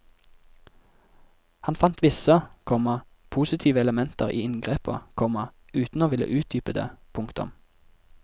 Han fant visse, komma positive elementer i inngrepet, komma uten å ville utdype det. punktum